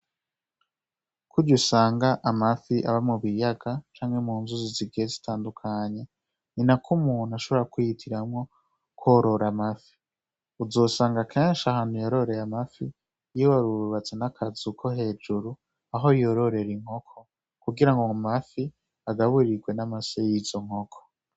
Kurya usanga amafi aba mu biyaga canke mu nzuzi zigiye zitandukanye, ni na ko umuntu ashobora kwihitiramwo kworora amafi. Uzosanga kenshi ahantu yororeye amafi yo baba bubatse n'akazu ko hejuru aho yororera inkoko kugira ngo amafi agaburirwe n'amase y'izo nkoko.